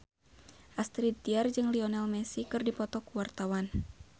Astrid Tiar jeung Lionel Messi keur dipoto ku wartawan